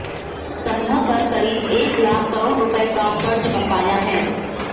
समूह पर करीब एक लाख करोड़ रुपये का कर्ज बकाया है